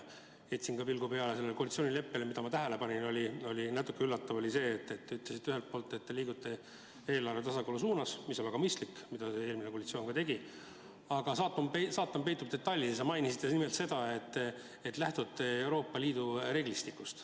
Heitsin ka pilgu peale koalitsioonileppele ja üks asi, mida ma tähele panin, oli natuke üllatav: te ütlesite ühelt poolt, et liigute eelarve tasakaalu suunas – ja see on väga mõistlik, ka eelmine koalitsioon tegi seda –, aga saatan peitub detailides ja teisalt mainisite seda, et te lähtute Euroopa Liidu reeglistikust.